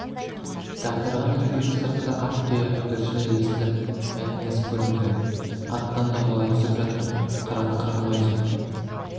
дағдарған екеудің сыртында ат тұяғының дүрсілі естіліп мәтнияз көрінді аттан домалай түсіп жатыр қырғын қырғын өзі